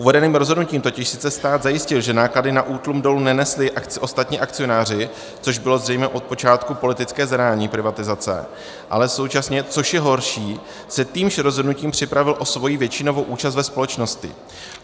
Uvedeným rozhodnutím totiž sice stát zajistil, že náklady na útlum dolů nenesli ostatní akcionáři, což bylo zřejmě od počátku politické zadání privatizace, ale současně, což je horší, se týmž rozhodnutím připravil o svoji většinovou účast na společnosti.